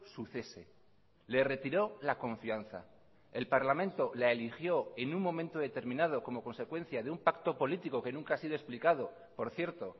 su cese le retiró la confianza el parlamento la eligió en un momento determinado como consecuencia de un pacto político que nunca ha sido explicado por cierto